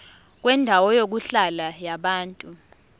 kwendawo yokuhlala yabantu